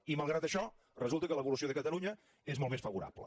i malgrat això resulta que l’evolució de catalunya és molt més favorable